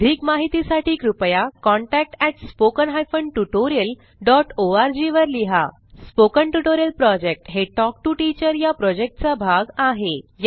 अधिक माहितीसाठी कृपया contact at spoken hyphen tutorial dot ORG वर लिहा स्पोकन ट्युटोरियल प्रॉजेक्ट हे टॉक टू टीचर या प्रॉजेक्टचा भाग आहे